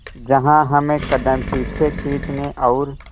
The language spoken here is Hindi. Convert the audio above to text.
जहां हमें कदम पीछे खींचने और